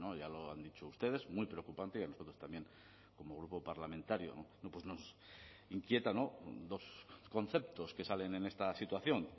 ya lo han dicho ustedes muy preocupante y a nosotros también como grupo parlamentario nos inquieta dos conceptos que salen en esta situación